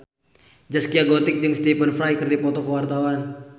Zaskia Gotik jeung Stephen Fry keur dipoto ku wartawan